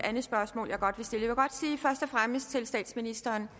andet spørgsmål jeg godt vil stille jeg og fremmest sige til statsministeren